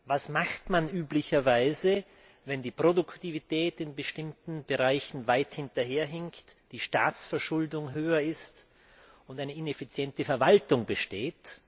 Was macht man üblicherweise, wenn die Produktivität in bestimmten Bereichen weit hinterherhinkt, die Staatsverschuldung höher ist und eine ineffiziente Verwaltung besteht?